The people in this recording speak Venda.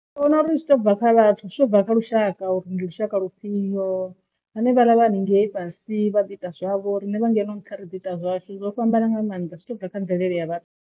Ndi vhona uri zwi to bva kha vhathu zwi to bva kha lushaka uri ndi lushaka lufhio hanevhaḽa vha hanengei fhasi vha ḓi ita zwavho riṋe vha ngeno nṱha ri ḓo ita zwashu zwo fhambana nga maanḓa zwi to bva kha mvelele ya vhathu.